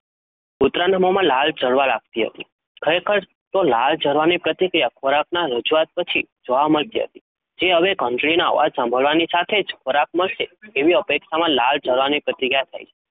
કુતરાના મોમાં લાળ જરવા લગતી હતી ખરેખર તો લાળ જરવાની પ્રતિક્રિયા ખોરાકના રજુઆત પછી જોવા મળતી હતી જે હવે ઘંટડીના અવાજ સાંભળવાની સાથે જ ખોરાક મળશે એવી અપેક્ષામાં લાળ જરવાની પ્રતિક્રિયા થાય છે